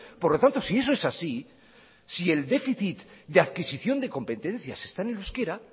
por lo tanto si eso es así si el déficit de adquisición de competencias está en el euskera